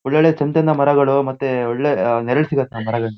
ಒಳ್ಳೊಳ್ಳೆ ಚಂದ್ ಚಂದ ಮರಗಳು ಮತ್ತೆ ಒಳ್ಳೆ ಅಹ ನೆರಳು ಸಿಗುತ್ತೆ ಆ ಮರಗಳಿಂದ.---